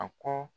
A kɔ